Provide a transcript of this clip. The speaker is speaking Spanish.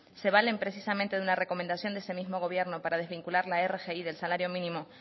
se valen precisamente de una recomendación de ese mismo gobierno para desvincular la rgi del salario mínimo